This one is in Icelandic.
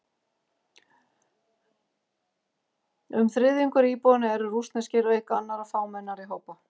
Um þriðjungur íbúanna eru rússneskir, auk annarra fámennari hópa.